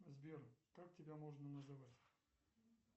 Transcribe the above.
сбер как тебя можно называть